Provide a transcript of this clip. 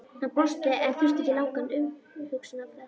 Hann brosti en þurfti ekki langan umhugsunarfrest.